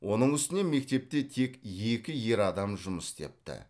оның үстіне мектепте тек екі ер адам жұмыс істепті